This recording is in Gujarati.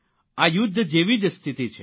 આ યુદ્ધ જેવી જ સ્થિતિ છે